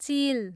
चिल